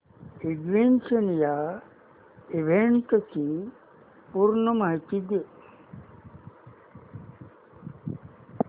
ignition या इव्हेंटची पूर्ण माहिती दे